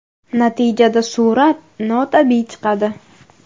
Natijada surat notabiiy chiqadi.